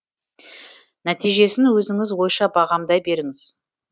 нәтижесін өзіңіз ойша бағамдай беріңіз